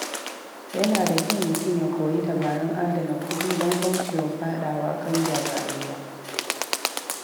Yana da kyau mutum ya koyi dabarun adana kuɗi don kaucewa faɗawa ƙangin rayuwa.